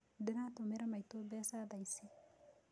Ndĩratũmira maitũ mbeca thaicĩ